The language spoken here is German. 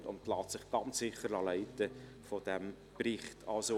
Sie lässt sich sicher von diesem Bericht leiten.